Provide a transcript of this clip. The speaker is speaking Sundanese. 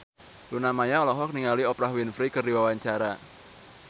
Luna Maya olohok ningali Oprah Winfrey keur diwawancara